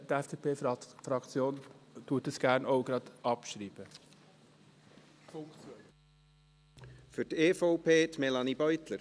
Die FDP-Fraktion schreibt den Punkt 2 gerne auch gleich ab.